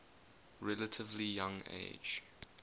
relatively young age